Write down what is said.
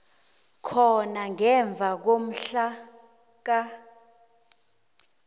khona ngemva komhlaka